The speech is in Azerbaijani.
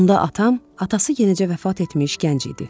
Onda atam atası yenicə vəfat etmiş gənc idi.